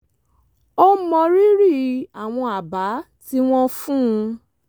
ó mọrírì àwọn àbá tí wọ́n fún un